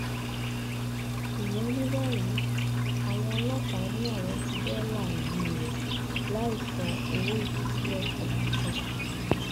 dùnyá fi kún un pé méjì nínú àwọn òṣìṣẹ àwọn pàápàá ṣẹṣẹ gidi níbi ìkọlù yìí